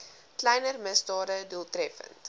kleiner misdade doeltreffend